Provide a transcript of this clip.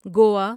Goa